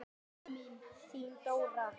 Þín Dóra.